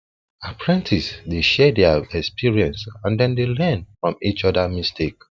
apprentices dey share their experience and dem dey learn from each other mistake